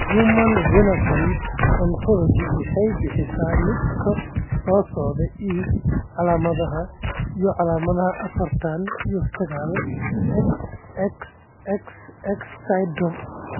The Human Phenotype Ontology waxay bixisaa liiska soo socda ee calaamadaha iyo calaamadaha afartaan iyo sagaal ,XXXX syndrome.